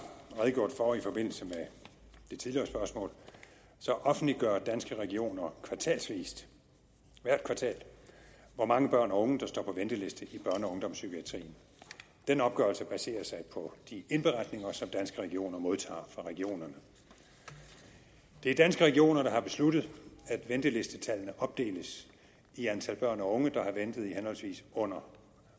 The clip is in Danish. redegjort for i forbindelse med det tidligere spørgsmål offentliggør danske regioner kvartalsvis hvert kvartal hvor mange børn og unge der står på venteliste i børne og ungdomspsykiatrien den opgørelse baserer sig på de indberetninger som danske regioner modtager fra regionerne det er danske regioner der har besluttet at ventelistetallene opdeles i antal børn og unge der har ventet i henholdsvis under